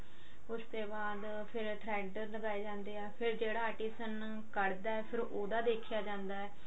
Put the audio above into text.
ਉਸ ਤੇ ਬਾਅਦ ਫਿਰ thread ਦਿਖਾਏ ਜਾਂਦੇ ਆਂ ਫਿਰ ਜਿਹੜਾ artist ਉਹਨੂੰ ਕਢ ਦਾ ਫਿਰ ਉਹਦਾ ਦੇਖਿਆ ਜਾਂਦਾ